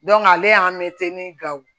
ale y'an mɛtiri ni gawo